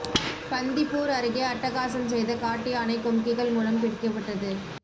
பந்திப்பூர் அருகே அட்டகாசம் செய்த காட்டு யானை கும்கிகள் மூலம் பிடிக்கப்பட்டது